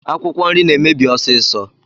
Akwụkwọ nri na-emebi ọsiisọ.